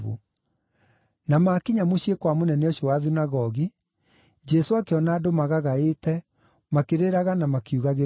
Na maakinya mũciĩ kwa mũnene ũcio wa thunagogi, Jesũ akĩona andũ magagaĩte makĩrĩraga na makiugagĩrĩria.